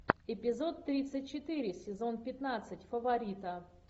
эпизод тридцать четыре сезон пятнадцать фаворита